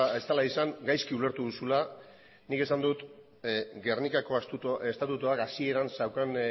ez dela izan gaizki ulertu duzula nik esan dut gernikako estatutuak hasieran zeukan